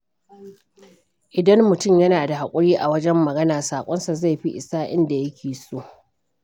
Idan mutum yana da haƙuri a wajen magana, saƙonsa zai fi isa inda yake so.